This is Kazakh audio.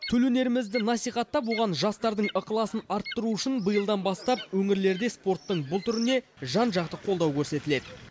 төл өнерімізді насихаттап оған жастардың ықыласын арттыру үшін биылдан бастап өңірлерде спорттың бұл түріне жан жақты қолдау көрсетіледі